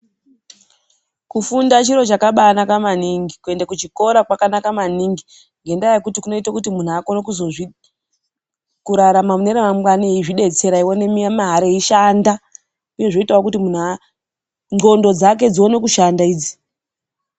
Kufunda chiro chakabanaka maningi. Kuenda kuchikora kwakanaka maningi ngendaa yekuti kunoite kuti muntu akone kuzozvirarama mune ramangwana, eizvidetsera, achiwane mare, wechishanda. Uye zvinoita kuti muntu ndxondo dzake dzione kushanda idzi.